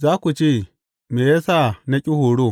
Za ku ce, Me ya sa na ƙi horo!